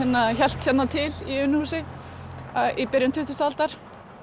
hélt hérna til í Unuhúsi í byrjun tuttugustu aldar